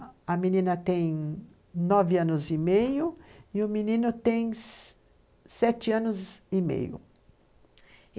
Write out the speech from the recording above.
A menina tem nove anos e meio e o menino tem sete anos e meio.